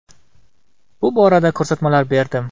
Bu borada ko‘rsatmalar berdim.